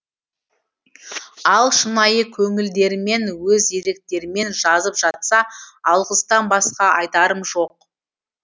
ал шынайы көңілдерімен өз еріктерімен жазып жатса алғыстан басқа айтарым жоқ